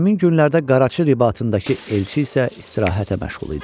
Həmin günlərdə Qaraçı Ribatındakı elçi isə istirahətə məşğul idi.